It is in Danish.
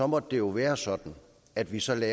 måtte det jo være sådan at vi satte